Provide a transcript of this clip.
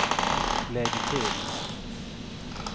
lägg till